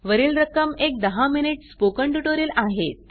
वरील रक्कम एक दहा मिनिट स्पोकन ट्युटोरियल आहेत